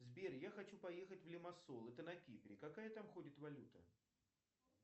сбер я хочу поехать в лимассол это на кипре какая там ходит валюта